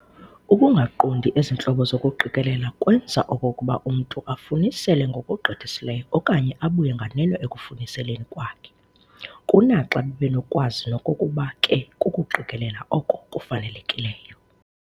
Ukungaqondi ezi ntlobo zokuqikelela kwenza okokuba umntu afunisele ngokugqithisileyo okanye abuye nganeno ekufuniseleni kwakhe, kunaxa bebenokwazi nokokuba ke kukuqikelela oko kufanelekileyo.